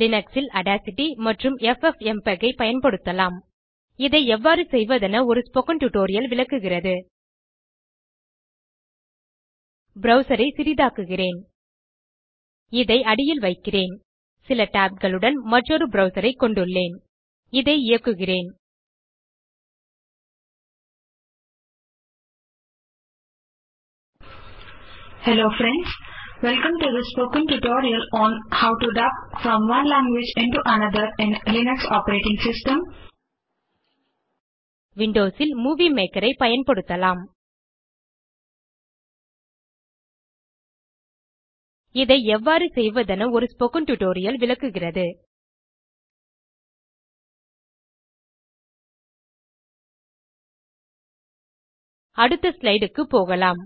Linux ல் Audacity மற்றும் FFmpeg ஐ பயன்படுத்தலாம் இதை எவ்வாறு செய்வதென ஒரு ஸ்போக்கன் டியூட்டோரியல் விளக்குகிறது ப்ரவ்சர் ஐ சிறிதாக்குகிறேன் இதை அடியில் வைக்கிறேன் சில tabகளுடன் மற்றொரு ப்ரவ்சர் கொண்டுள்ளேன் இதை இயக்குகிறேன் இயங்குகிறது விண்டோஸ் ல் மூவி மேக்கர் ஐ பயன்படுத்தலாம் இதை எவ்வாறு செய்வதென ஒரு ஸ்போக்கன் டியூட்டோரியல் விளக்குகிறது அடுத்த slideக்கு போகலாம்